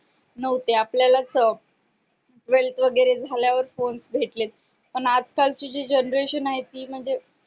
नाहोते आपल्यालाच twelfth वैगरे झाल्या वर phone भेटलेत पण आज काल ची जि genretion आहे ती म्हणजे